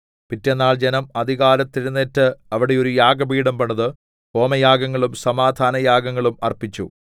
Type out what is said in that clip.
പിറ്റെന്നാൾ ജനം അതികാലത്ത് എഴുന്നേറ്റ് അവിടെ ഒരു യാഗപീഠം പണിത് ഹോമയാഗങ്ങളും സമാധാനയാഗങ്ങളും അർപ്പിച്ചു